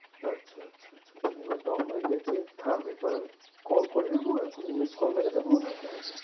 আচ্ছা আচ্ছা আচ্ছা আচ্ছা, note নেওয়া হয়ে গেছে। থাম এবার আমি call করে নেব এখন miss call মেরে দেব ওনাকে?